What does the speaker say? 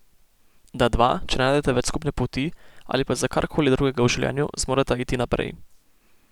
Da dva, če ne najdeta več skupne poti ali pa za karkoli drugega v življenju, zmoreta iti naprej.